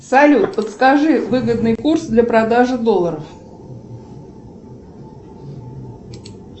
салют подскажи выгодный курс для продажи долларов